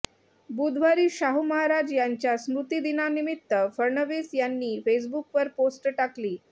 बुधवारी शाहू महाराज यांच्या स्मृतिदिनानिमित्त फडणवीस यांनी फेसबुकवर पोस्ट टाकली